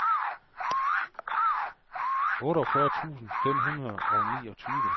otteogfyrre tusind fem hundrede og niogtyve